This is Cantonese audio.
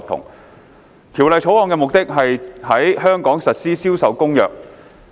《貨物銷售條例草案》的目的是在香港實施《銷售公約》。